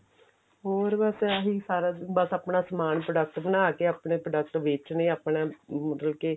ਹੋਰ ਬੱਸ ਇਹੀ ਸਾਰਾ ਦਿਨ ਬੱਸ ਆਪਣਾ ਸਮਾਨ product ਬਣਾ ਕੇ ਆਪਣੇ product ਨੂੰ ਵੇਚਨੇ ਆਪਣੇ ਮਤਲਬ ਕੇ